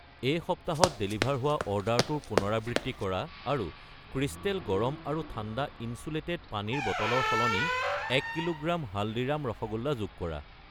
এই সপ্তাহত ডেলিভাৰ হোৱা অৰ্ডাৰটোৰ পুনৰাবৃত্তি কৰা আৰু ক্ৰিষ্টেল গৰম আৰু ঠাণ্ডা ইনচুলেটেড পানীৰ বটল ৰ সলনি 1 কিলোগ্ৰাম হালদিৰাম ৰসগোল্লা যোগ কৰা।